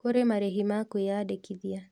Kũrĩ marĩhi ma kwĩyandĩkithia